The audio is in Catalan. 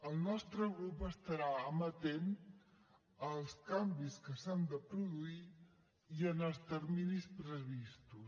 el nostre grup estarà amatent als canvis que s’han de produir i en els terminis previstos